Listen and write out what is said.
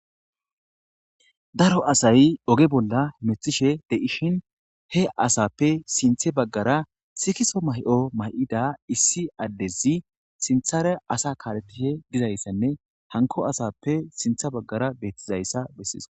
Daro asay oge bolla methishe deishin he asappe sinthe baggara sikiso may7o may7ida issi addezi sinthare asa kaalettishe gizayssanne hanko asappe sintha baggara beettizayssa bessiis.